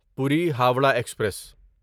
پوری ہورہ ایکسپریس